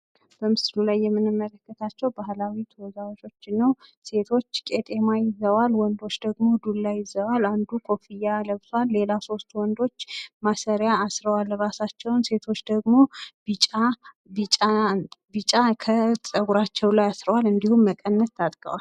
በምስሉ ላይ የምንመለከትው ባህላዊ ተወዛዋዦችን ነው ሴቶች ቄጠማ ይዘዋል ወንዶች ደግሞ ዱላ ይዘዋል አንዱ ኮፍያ ለብሳል ለላ ሶስት ወንዶች ማስሪያ አስረዋል እራሳቸውን ሴቶች ደግሞ ቢጫ ቢጫ ከጸጉራቸው ላይ አሰርዋል እንዲሁም መቀነት ታጥቀዋል።